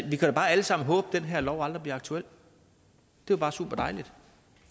vi kan da bare alle sammen håbe at den her lov aldrig bliver aktuel det er bare superdejligt